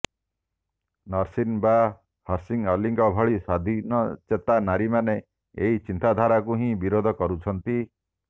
ନସରିନ୍ ବା ହିର୍ସି ଅଲିଙ୍କ ଭଳି ସ୍ବାଧୀନଚେତା ନାରୀମାନେ ଏହି ଚିନ୍ତାଧାରାକୁ ହିଁ ବିରୋଧ କରୁଛନ୍ତି